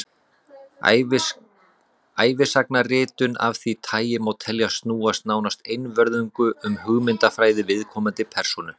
ævisagnaritun af því tagi má teljast snúast nánast einvörðungu um hugmyndafræði viðkomandi persónu